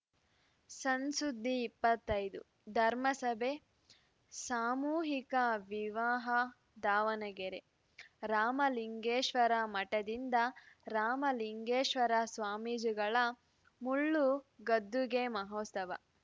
ಸಣ್‌ ಸುದ್ದಿ ಇಪ್ಪತ್ತೈದು ಧರ್ಮ ಸಭೆ ಸಾಮೂಹಿಕ ವಿವಾಹ ದಾವಣಗೆರೆ ರಾಮಲಿಂಗೇಶ್ವರ ಮಠದಿಂದ ರಾಮಲಿಂಗೇಶ್ವರ ಸ್ವಾಮೀಜಿಗಳ ಮುಳ್ಳು ಗದ್ದುಗೆ ಮಹೋತ್ಸವ